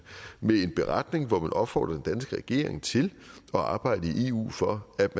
med en beretning hvor man opfordrer den danske regering til at arbejde i eu for at